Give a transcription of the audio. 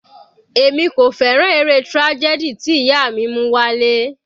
Èmi kò fẹ́ràn eré tragedy tí ìyá mi mú wá ilé.